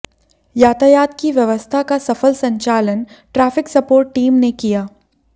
यातायात की व्यवस्था का सफल संचालन ट्रैफिक सपोर्ट टीम ने किया